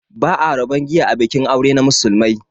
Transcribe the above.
Ba'a rabon giya a bikin aure na musulmai